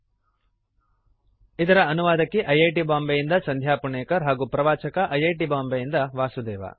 httpspoken tutorialorgNMEICT Intro ಇದರ ಅನುವಾದಕಿ I I T Bombay ಯಿಂದ ಸಂಧ್ಯಾ ಪುಣೇಕರ್ ಹಾಗೂ ಪ್ರವಾಚಕ ಐ ಐ ಟಿ ಬಾಂಬೆಯಿಂದ ವಾಸುದೇವ